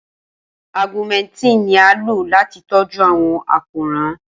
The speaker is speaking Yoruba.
Augmentin ni a lo lati tọju awọn àkórán.